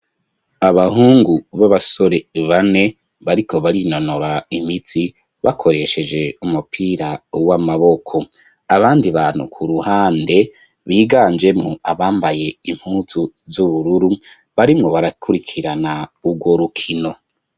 Abahungu b'abasore, bane, bariko barinonora imitsi, bakoresheje umupira w'amaboko; abandi bantu, ku ruhande, biganjemwo, abambaye impuzu z'ubururu, barimwo barakurikirana, urwo rukino.